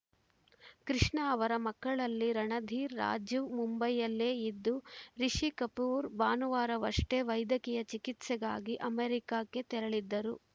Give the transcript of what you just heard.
ಕೃಷ್ಣಾ ಅವರ ಮಕ್ಕಳಲ್ಲಿ ರಣಧೀರ್‌ ರಾಜೀವ್‌ ಮುಂಬೈಯಲ್ಲೇ ಇದ್ದು ರಿಷಿ ಕಪೂರ್‌ ಭಾನುವಾರವಷ್ಟೇ ವೈದ್ಯಕೀಯ ಚಿಕಿತ್ಸೆಗಾಗಿ ಅಮೇರಿಕಕ್ಕೆ ತೆರಳಿದ್ದರು